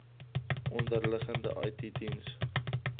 onderliggende it diens